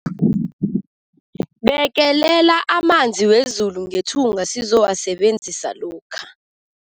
Bekelela amanzi wezulu ngethunga sizowasebenzisa lokha.